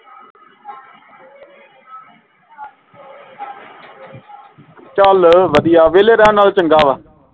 ਚੱਲ ਵਧੀਆ ਵੇਹਲੇ ਰਹਿਣ ਨਾਲੋਂ ਚੰਗਾ ਵਾ